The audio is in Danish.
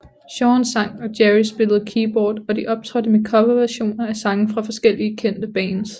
Jean sang og Gerry spillede keyboard og de optrådte med coverversioner af sange fra forskellige kendte bands